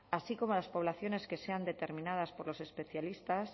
así como de las poblaciones que sean determinadas por los especialistas